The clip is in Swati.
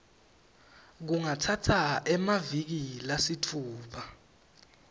kungatsatsa emaviki lasitfupha